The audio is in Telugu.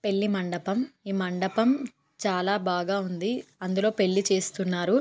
పెళ్లి మండపం ఈ మండపం చాలా బాగా ఉంది. అందులో పెళ్లి చేస్తున్నారు.